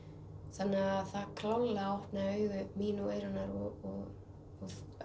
það klárlega opnaði augu mín og Eyrúnar og